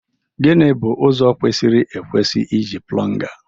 Gịnị bụ ụzọ kwesịrị ekwesị iji plunga?